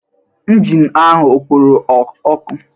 Injin ahụ ọ kporo ọkụ?